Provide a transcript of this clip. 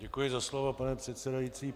Děkuji za slovo, paní předsedající.